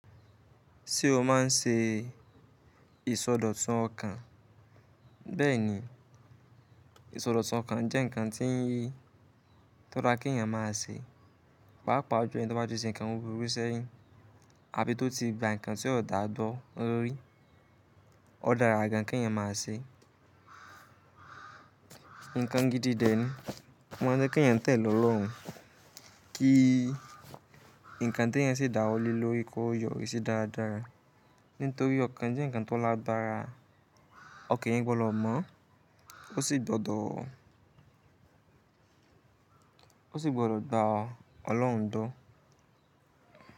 Ṣé o má n ṣe ìsọdọ̀tun ọkàn? Bẹ́ẹ̀ni, ìsọdọ̀tun ọkàn jẹ́ nǹkan tí ń yí tó dára kí ẹ̀yàn má a ṣe, pàápàá ju ẹ̀yin tó bá ti ṣe nǹkan buburu sẹ́yìn, àbí tó ti gba nǹkan tí ó da gbo rí, ó dára gan kí ẹ̀yàn má a ṣe. Ǹkan gidi dẹ̀ ni, oma nje kí ẹ̀yàn tẹ̀lé ọlọ́run, kí nǹkan tí ẹ̀yàn ṣe dáwọ lè lori ko yọrí sí daadaa Nítorí ọkàn jẹ́ nǹkan tó lágbára, ọkàn eyan gbọ́dọ̀ mọ́, ó sì gbọ́dọ̀ gba Ọlọ́run dúró.